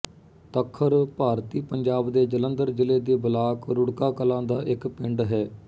ਤੱਖਰ ਭਾਰਤੀ ਪੰਜਾਬ ਦੇ ਜਲੰਧਰ ਜ਼ਿਲ੍ਹੇ ਦੇ ਬਲਾਕ ਰੁੜਕਾ ਕਲਾਂ ਦਾ ਇੱਕ ਪਿੰਡ ਹੈ